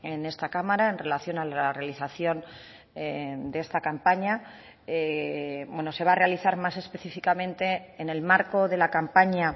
en esta cámara en relación a la realización de esta campaña se va a realizar más específicamente en el marco de la campaña